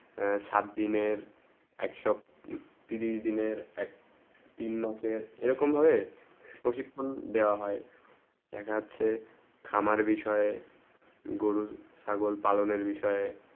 সাত দিনের এক সো তিরিশ দিনের এক তিন মাসে এইরকম ভাবে প্রশিক্ষণ দেব হয়ে দেখা যাচ্ছে খামার বিষয়ে গরু ছাগল পালনে বিষয়ে